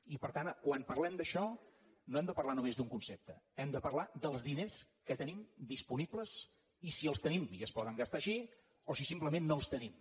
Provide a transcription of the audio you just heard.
i per tant quan parlem d’això no hem de parlar només d’un concepte hem de parlar dels diners que tenim disponibles i si els tenim i es poden gastar així o si simplement no els tenim